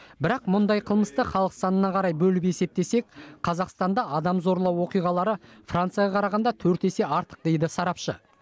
бірақ мұндай қылмысты халық санына қарай бөліп есептесек қазақстанда адам зорлау оқиғалары францияға қарағанда төрт есе артық дейді сарапшы